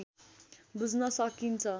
बुझ्न सकिन्छ